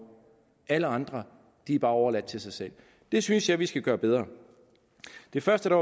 alle andre er bare overladt til sig selv det synes jeg vi skal gøre bedre det første